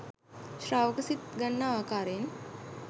ශ්‍රාවක සිත් ගන්නා ආකාරයෙන්